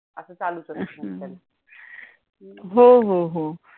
हो हो.